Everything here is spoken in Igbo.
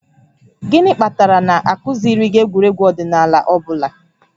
Gịnị kpatara na a kụziiri gị egwuregwu ọdịnala ọ bụla?